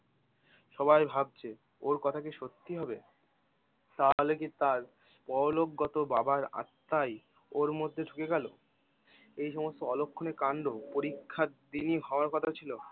সবাই ভাবছে ওর কথা কি সত্যি হবে? তাহলে কি তার পরলোকগত বাবার আত্মাই ওর মধ্যে ঢুকে গেল? এইসমস্ত অলক্ষণে কাণ্ড পরীক্ষার দিনই হওয়ার কথা ছিল?